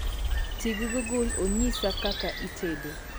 ti gi google onyisi kaka itedo